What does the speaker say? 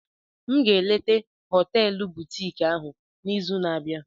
M ga-eleta họteelu butiiki ahụ n'izu na-abịa.